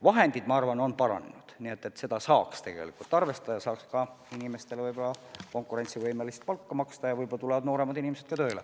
Vahendid, ma arvan, on suurenenud, nii et tegelikult saaks inimestele konkurentsivõimelist palka maksta ja võib-olla tulevad siis nooremad inimesed ka tööle.